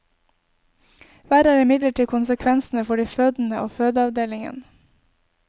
Verre er imidlertid konsekvensene for de fødende og fødeavdelingen.